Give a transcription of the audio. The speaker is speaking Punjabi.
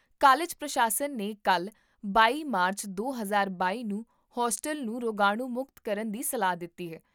ਕਾਲਜ ਪ੍ਰਸ਼ਾਸਨ ਨੇ ਕੱਲ੍ਹ, ਬਾਈ ਮਾਰਚ, ਦੋ ਹਜ਼ਾਰ ਬਾਈ ਨੂੰ ਹੋਸਟਲ ਨੂੰ ਰੋਗਾਣੂ ਮੁਕਤ ਕਰਨ ਦੀ ਸਲਾਹ ਦਿੱਤੀ ਹੈ